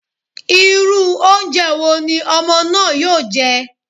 Irú oúnjẹ wo ni ọmọ náà yóò jẹ́?